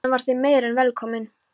Hann var þeim meir en velkominn.